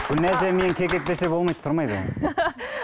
гүлназия мені кекетпесе болмайды тұрмайды ол